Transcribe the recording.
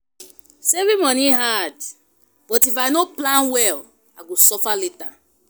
Saving money hard, but if I no plan well, I go suffer later.